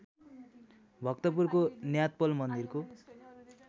भक्तपुरको न्यातपोल मन्दिरको